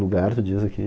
Lugar, tu diz aqui.